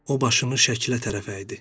O başını şəklə tərəf əydi.